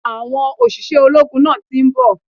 Àwọn òṣìṣẹ́ ológun náà ti nbò